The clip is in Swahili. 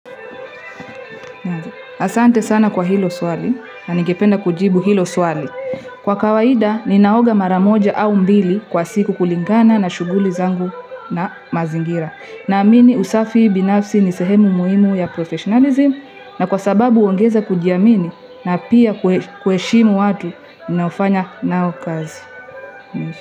Asante sana kwa hilo swali, na ningependa kujibu hilo swali. Kwa kawaida, ninaoga mara moja au mbili kwa siku kulingana na shughuli zangu na mazingira. Naamini usafi binafsi ni sehemu muhimu ya professionalism, na kwa sababu huongeza kujiamini na pia kuheshimu watu, ninaofanya nao kazi.